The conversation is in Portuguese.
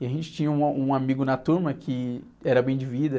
E a gente tinha um a, um amigo na turma que era bem de vida.